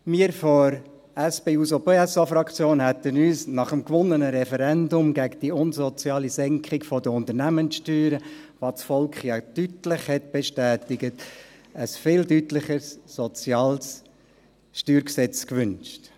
Wir von der SP-JUSO-PSA-Fraktion haben uns nach dem gewonnenen Referendum gegen die unsoziale Senkung der Unternehmenssteuern, was das Volk ja deutlich bestätigt hat, ein deutlich sozialeres StG gewünscht.